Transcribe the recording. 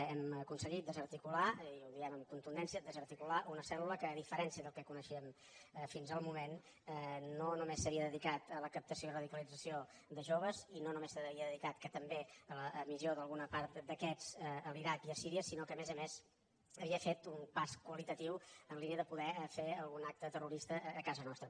hem aconseguit desarticular i ho diem amb contundència desarticular una cèlque coneixíem fins al moment no només s’havia dedicat a la captació i radicalització de joves i no només s’havia dedicat que també a l’emissió d’alguna part d’aquests a l’iraq i a síria sinó que a més a més havia fet un pas qualitatiu en la línia de poder fer algun acte terrorista a casa nostra